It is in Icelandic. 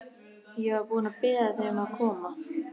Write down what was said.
Ég var búin að biðja þig um að koma.